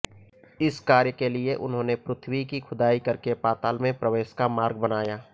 इस कार्य के लिए उन्होंने पृथ्वी की खुदाई करके पाताल में प्रवेश का मार्ग बनाया